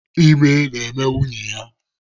Ime na-eme nwunye ya.